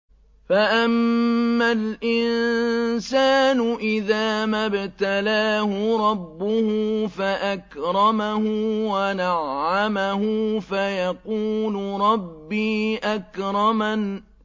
فَأَمَّا الْإِنسَانُ إِذَا مَا ابْتَلَاهُ رَبُّهُ فَأَكْرَمَهُ وَنَعَّمَهُ فَيَقُولُ رَبِّي أَكْرَمَنِ